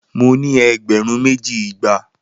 Mo ni egberun meji igba